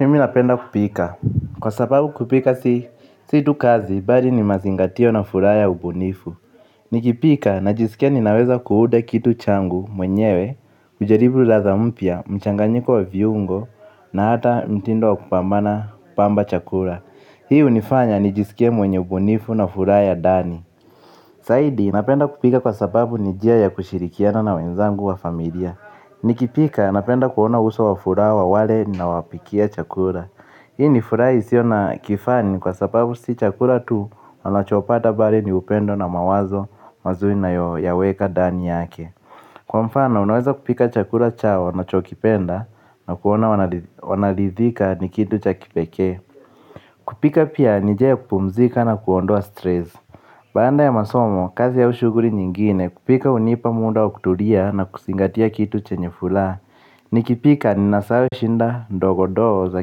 Mimi napenda kupika. Kwa sababu kupika situ kazi, bali ni mazingatio na fura ya ubunifu. Nikipika najisikia ninaweza kuhuda kitu changu mwenyewe, kujaribu ladha mpia, mchanganyiko wa viungo, na hata mtindo wa kupambana pamba chakura. Hii unifanya nijisikie mwenye ubunifu na fura ya dani. Saidi, napenda kupika kwa sababu ni jia ya kushirikiana na wenzangu wa familia. Nikipika, napenda kuona uso wa fura wa wale nawapikia chakura. Hii ni fura isiona kifani kwa sababu si chakura tu wanachopata bali ni upendo na mawazo mazuri nayo weka ndani yake. Kwa mfano unaweza kupika chakura chao na chokipenda na kuona wanalithika ni kitu cha kipeke. Kupika pia nijia kupumzika na kuondoa stress. Banda ya masomo kazi ya ushuguri nyingine kupika unipa munda wa kutulia na kusingatia kitu chenye fula. Nikipika ni nasawe shida ndogondogo za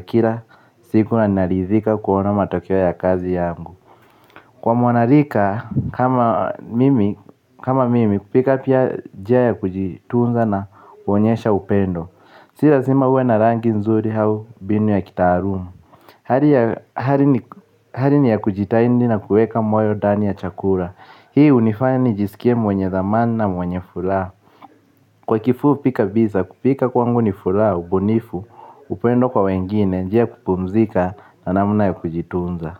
kila siku na naridhika kuona matokeo ya kazi yangu. Kwa mwanarika. Kama mimi kupika pia ni njia ya kujitunza na kuonyesha upendo. Si lazima uwe na rangi nzuri au mbinu ya kitaalumu. Hali ni ya kujitahidi na kuweka moyo ndani ya chakula, hii hunifanya nijiskie mwenye dhamani na mwenye furaha, kwa kifupi kabisa, kupika kwangu ni furaha, ubunifu, upen do kwa wengine, njia ya kupumzika na namna ya kujitunza.